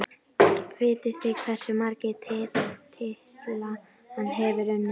Vitið þið hversu marga titla hann hefur unnið?